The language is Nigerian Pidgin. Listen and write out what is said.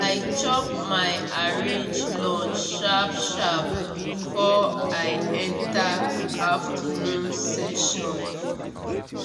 i chop my arrange lunch sharp sharp before i enter afternoon session.